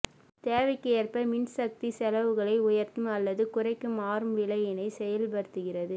தேவைக்கு ஏற்ப மின்சக்தி செலவுகளை உயர்த்தும் அல்லது குறைக்கும் மாறும் விலையினை செயல்படுத்துகிறது